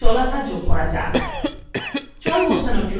এখন body অঙ্কনে জলাধার যোগ করা যাক